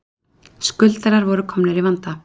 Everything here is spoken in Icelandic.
Skuldarar voru komnir í vanda